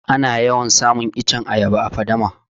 Ana yawan samun iccen ayaba a faɗama